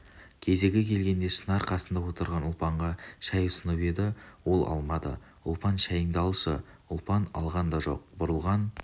кезегі келгенде шынар қасында отырған ұлпанға шай ұсынып еді ол алмады ұлпан шайыңды алшы ұлпан алған да жоқ бұрылған